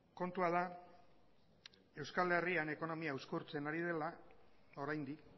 kontua da euskal herrian ekonomia uzkurtzen ari dela oraindik